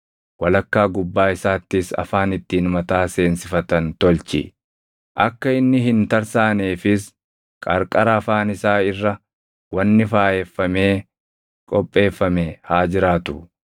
walakkaa gubbaa isaattis afaan ittiin mataa seensifatan tolchi. Akka inni hin tarsaaneefis qarqara afaan isaa irra wanni faayeffamee qopheeffame haa jiraatu.